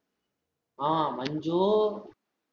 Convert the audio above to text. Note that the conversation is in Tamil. ஆஹ் மஞ்சு